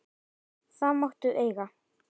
Það máttu eiga.